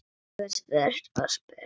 Þú hefðir spurt og spurt.